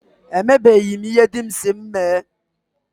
E mebeghi m ihe dị m si m mee.